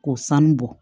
K'o sanu bɔ